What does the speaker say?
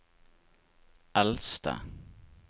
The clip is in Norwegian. eldste